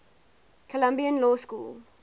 columbia law school